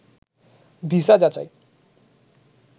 visa যাচাই